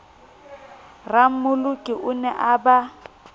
rammoloki o ne a ba